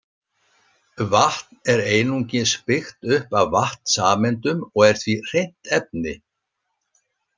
Vatn er einungis byggt upp af vatnssameindum og er því hreint efni.